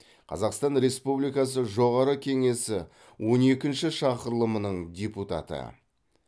қазақстан республикасы жоғарғы кеңесі он екінші шақырылымының депутаты